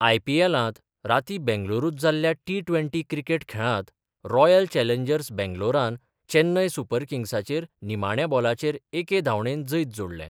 आय.पी.एलांत रातीं बेंगलुरुत जाल्ल्या टि ट्वेंटी क्रिकेट खेळांत रॉयल चॅलेंजर्स बेंगलोरान चैन्नय सुपर किंग्साचेर निमाण्या बॉलाचेर एके धांवडेन जैत जोडले.